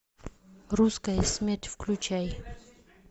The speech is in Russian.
русская смерть включай